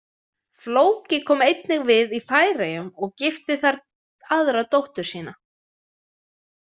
Flóki kom einnig við í Færeyjum og gifti þar aðra dóttur sína.